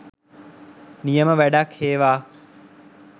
නියම වැඩක් හේවා